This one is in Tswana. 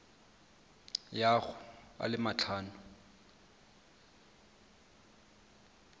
ya go a le matlhano